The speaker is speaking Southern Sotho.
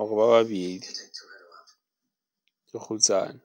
or ba babedi. Ke kgutsana.